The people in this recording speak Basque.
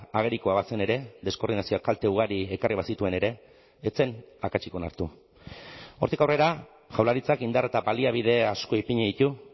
agerikoa bazen ere deskoordinazioak kalte ugari ekarri bazituen ere ez zen akatsik onartu hortik aurrera jaurlaritzak indar eta baliabide asko ipini ditu